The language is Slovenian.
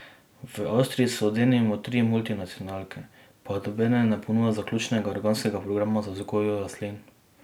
V Avstriji so denimo tri multinacionalke, pa nobena ne ponuja zaključenega organskega programa za vzgojo rastlin.